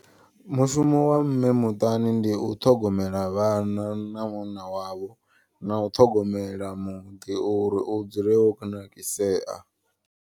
Mushumo wa mme muṱani ndi u ṱhogomela vhana na munna wavho. Na u ṱhogomela muḓi uri u dzule wo kunakisea.